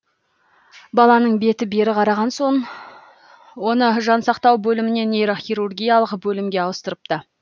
баланың беті бері қараған соң оны жансақтау бөлімінен нейрохирургиялық бөлімге ауыстырыпты